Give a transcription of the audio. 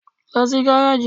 Lọ sí gáràjì!